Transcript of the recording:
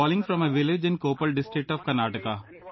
I am calling from a village in Koppal district of Karnataka